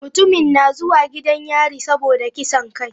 Mutumin na zuwa gidan yari saboda kisan kai.